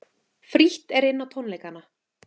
Frítt er inn á tónleikana